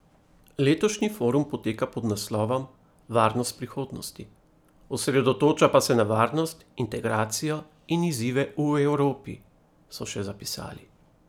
Letošnji forum poteka pod naslovom Varnost prihodnosti, osredotoča pa se na varnost, integracijo in izzive v Evropi, so še zapisali.